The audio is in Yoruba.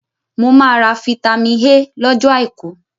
Mo máa ra fitami A lọ́jọ́ àìkú.